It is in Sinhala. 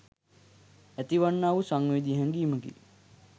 ඇති වන්නා වූ සංවේදී හැඟීමකි.